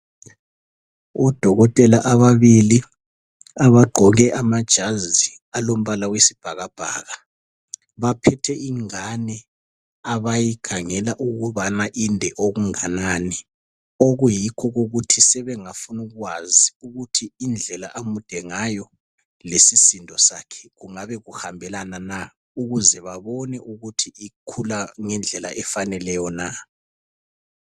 Odokotela ababili abagqoke amajazi alombala wesibhakabhaka. Baphethe ingane abayikhangela ukubana inde okunganani. Okuyikho okokuthi sebengafuna ukwazi ukuthi indlela amude ngayo lesisindo sakhe kungabe kuhambelana na, ukuze babone ukuthi ukhula ngendlela efaneleyo na.